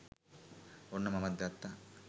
ඔන්න මමත් ගත්තා